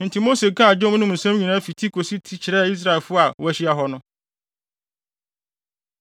Enti Mose kaa dwom no mu nsɛm nyinaa fi ti kosi ti kyerɛɛ Israelfo a wɔahyia hɔ no.